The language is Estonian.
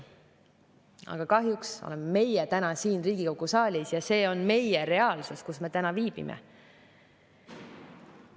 Aga kahjuks oleme me täna siin Riigikogu saalis ja see on meie reaalsus, kus me täna viibime.